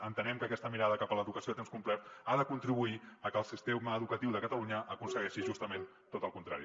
entenem que aquesta mirada cap a l’educació a temps complet ha de contribuir a que el sistema educatiu de catalunya aconsegueixi justament tot el contrari